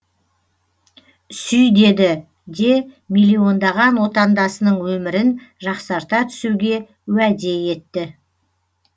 сүй деді де миллиондаған отандасының өмірін жақсарта түсуге уәде етті